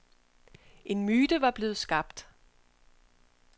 En myte var blevet skabt.